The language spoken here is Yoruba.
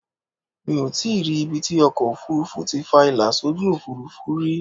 Mi ò tíì rí ibi tí ọkọ ofurufu ti fa ìlà sójú Òfurufú rí.